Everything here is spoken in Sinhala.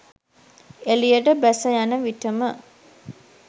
එලියට බැස යන විටම